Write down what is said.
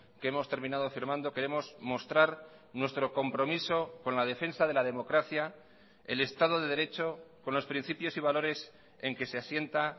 que hemos terminado firmando queremos mostrar nuestro compromiso con la defensa de la democracia el estado de derecho con los principios y valores en que se asienta